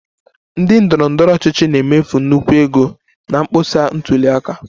Ndị ndọrọ ndọrọ ọchịchị na-emefu nnukwu ego na mkpọsa ntuli aka